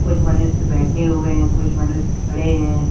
कुछ मनुष्य बैठे हुए हैं कुछ मनुष्य खड़े हैं।